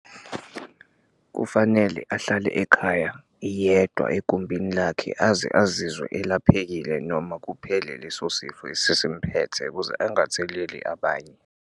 Kufanele ahlale ekhaya yedwa egumbini lakhe aze azizwe elahlekile noma kuphele leso sifo esimphethe, ukuze angatheleli abanye.